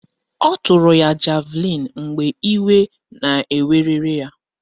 Ọ tụrụ ya javlịn mgbe iwe na-werere ya